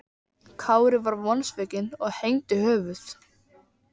Kári var vonsvikinn og hengdi höfuð.